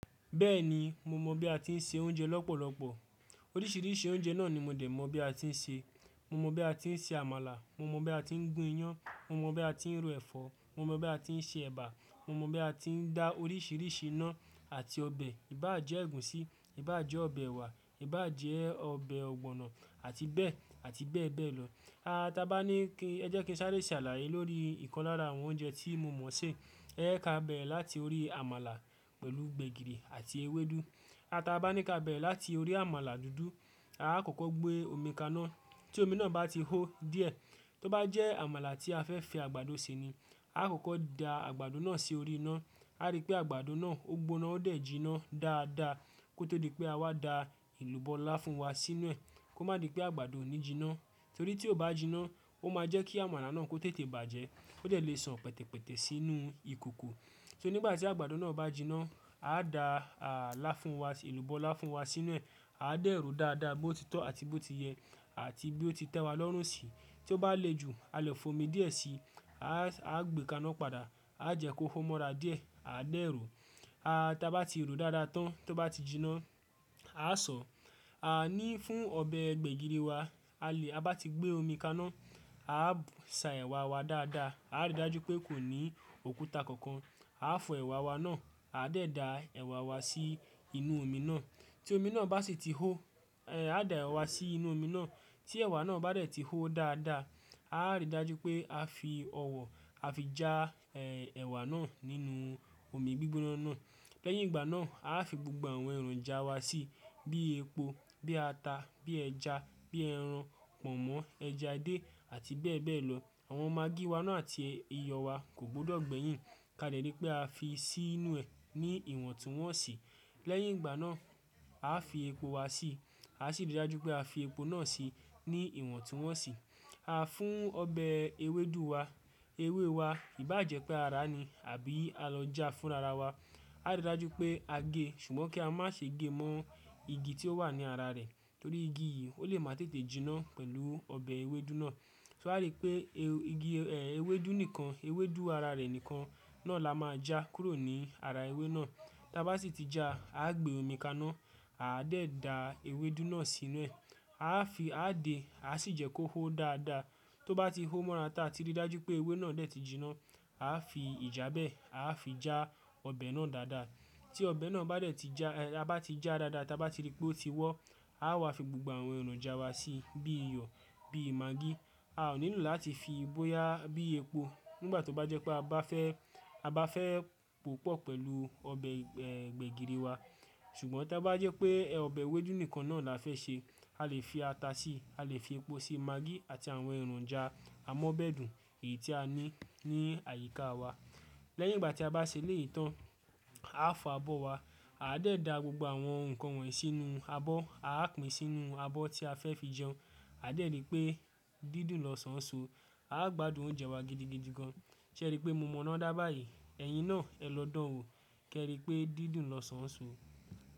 Bẹ́ẹ̀ni, mo mọ̀ bí a ti ń se oúnjẹ lọ́pọ̀lọ́pọ̀. Oríṣìíríṣìí oúnjẹ náà ni mo dẹ̀ mọ̀ bí a ti ń se. Mo mọ bí a ti ń se àmàlà, mo mọ bí a ti ń gún iyán, mo mọ bí a ti ń ro ẹ̀fọ́, mo mọ bí a ti ń se ẹ̀bà, mo mọ bí a ti ń da oríṣìíríṣìí iná àti ọbẹ̀. Ìbàjẹ́ ègúsí, ìbàjẹ́ ọbẹ̀ ewà, ìbàjẹ́ ọbẹ̀ ọ̀gbọ̀nọ̀, àti bẹ́ẹ̀, àti bẹ́ẹ̀ bẹ́ẹ̀ lọ. A, tí a bá ní kí, ẹ jẹ́ kí n sáré ṣàlàyé lórí ìkan lára àwọn oúnjẹ tí mo mọ̀ ṣé. Ẹ̀ ka bẹ̀rẹ̀ láti orí àmàlà pẹ̀lú gbẹ̀gìrì àti ewédú. A tí a bá ní kí a bẹ̀rẹ̀ láti orí àmàlà dúdú, a o kò kọ́ gbé omi kaná. Tí omi náà bá ti hó díẹ̀, tó bá jẹ́ àmàlà tí a fẹ́ fi àgbàdo ṣe ni, a kò kọ́ da àgbàdo náà sí orí iná. A rí pé àgbàdo náà ó gbóná, ó dẹ̀ jiná dáadáa. Kó tó di pé a wá da elubọ́ láfún wa sínú ẹ̀. Kó má di pé àgbàdo ò ní jiná, torí tí ó bá jiná, ó máa jẹ́ kí àmàlà náà kó tètè bàjẹ́. Ó dẹ̀ lè san pẹ̀tẹ̀pẹ̀tẹ̀ sínú ìkòkò. Só nígbà tí àgbàdo náà bá jiná, a dá à làfún wa, elúbọ́ láfún wa sínú ẹ̀. A d'èrò dáadáa bó ti tọ́ àti bó ti yẹ, àti bí ó ti tẹ́wa lọ́rùnsí. Tí ó bá le ju, a lè fò omi díẹ̀ síi. A, a gbé kaná padà. A jẹ́ kó hó mọ́ra díẹ̀. A dá èrò. A, tí a bá ti ro dáadáa tán, tó bá ti jiná, a sọ. A ní fún ọbẹ̀ gbẹ̀gìrì wa. A lè a bá ti gbé omi kaná, a sa ẹ̀wà wa dáadáa. A rí dájú pé kò ní òkúta kankan. A fọ ẹ̀wà wa náà, a dá ì da ẹ̀wà wa sí inú omi náà. Tí omi náà bá sì ti hó, ẹ, a da ẹ̀wà sí inú omi náà. Tí ẹ̀wà náà bá dẹ̀ ti hó dáadáa, a rí dájú pé a fi ọwọ́, a fi já, ẹ, ẹ̀wà náà nínú omi gbígbóná náà. Lẹ́yìn ìgbà náà, a fi gbogbo àwọn ẹ̀ròjà wa síi. Bí epo, bí ata, bí ẹja, bí ẹran, pọ̀nmọ́, ẹja díẹ̀, àti bẹ́ẹ̀ bẹ́ẹ̀ lọ. Àwọn magí wá náà àti iyọ̀ wa kò gbọdọ̀ gbẹ̀yìn. Ka lẹ̀ ri pé a fi sí inú ẹ̀ ní ìwọ̀ntúnwọ̀nsì. Lẹ́yìn ìgbà náà, a fi epo wa síi. A sì rí dájú pé a fi epo náà síi ní ìwọ̀ntúnwọ̀nsì. A fún ọbẹ̀ ewédú wa, ewé wa ìbàjẹ́ pé ara ni, àbí a lọ já fún ara wa. A rí dájú pé a gé, ṣùgbọ́n kí á má ṣe gé mọ́ igi tí ó wà ní ara rẹ̀. Torí igi yìí, ó lè má tètè jiná pẹ̀lú ọbẹ̀ ewédú náà. Torí pé igi, ẹ, ewédú nìkan, ewédú ara rẹ̀ nìkan náà la máa já kúrò ní ara ewé náà. Tí a bá sì ti já, a gbé omi kaná, a de da ewédú náà sínú ẹ̀. A fi, a dè, a sì jẹ́ kó hó dáadáa. Tó bá ti hó mọ́ra tá ti rí dájú pé ewé náà dẹ̀ ti jiná, a fi ìjàbẹ́, a fi já ọbẹ̀ náà dáadáa. Tí ọbẹ̀ náà bá dẹ̀ ti já, a bá ti já dáadáa, tí a bá ti rí pé ó ti wọ́, a wá fi gbogbo àwọn ẹ̀ròjà wa síi. Bí iyọ̀, bí magí. A ò nílò láti fi ibó yá, bíi epo. Nígbà tó bá jẹ́ pé a bá fẹ́, a bá fẹ́ pòpọ̀ pẹ̀lú ọbẹ̀, ẹ, gbẹ̀gìrì wa. Ṣùgbọ́n tí a bá jẹ́ pé ọbẹ̀ ewédú nìkan náà la fẹ́ ṣe, a lè fi ata síi, a lè fi epo síi, magí àti àwọn ẹ̀ròjà amọ́bẹ̀dù èyí tí a ní ní àyíká wa. Lẹ́yìn ìgbà tí a bá ṣe léyìí tán, a fọ abọ́ wa. A dá ì da gbogbo àwọn ǹkan wọ̀nyí sínú abọ́. A pín sínú abọ́ tí a fẹ́ fi jẹun. A dá ì ri pé, dídùn lọ́sàn-án so. A gbádùn oúnjẹ wa gidigidi gan. Ṣé ẹ ri pé mo mọ̀ ọ́n dá bá yìí? Ẹ̀yin náà, ẹ lọ dán an wo. Kẹ́ ẹ ri pé dídùn lọ́sàn-án so.